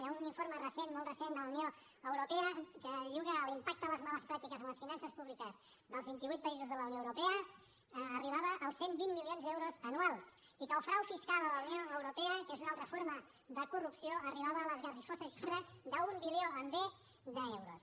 hi ha un informe recent molt recent de la unió europea que diu que l’impacte de les males pràctiques en les finances públiques dels vint i vuit països de la unió europea arribava als cent i vint milions d’euros anuals i que el frau fiscal a la unió europea que és una altra forma de corrupció arribava a l’esgarrifosa xifra d’un bilió amb be d’euros